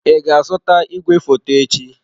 Ị ga-azụta igwefoto echi?